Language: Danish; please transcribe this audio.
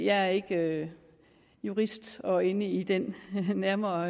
er ikke jurist og inde i den nærmere